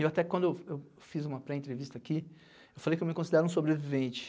Eu até quando eu fiz uma pré-entrevista aqui, eu falei que eu me considero um sobrevivente.